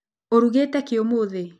Urugĩte kĩ ũmũthĩ